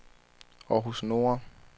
Århus Nordre